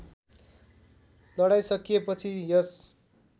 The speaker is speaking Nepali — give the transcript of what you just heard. लडाईँ सकिएपछि यस